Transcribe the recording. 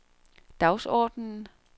dagsordenen